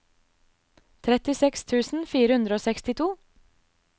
trettiseks tusen fire hundre og sekstito